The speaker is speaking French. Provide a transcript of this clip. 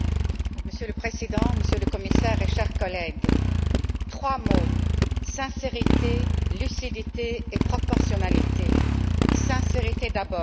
Monsieur le Président, Monsieur le Commissaire et chers collègues, trois mots sincérité, lucidité et proportionnalité. Sincérité, d'abord.